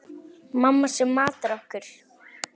Mamma sem matar okkur.